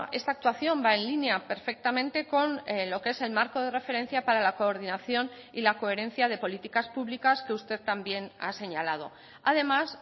esta actuación va en línea perfectamente con lo que es el marco de referencia para la coordinación y la coherencia de políticas públicas que usted también ha señalado además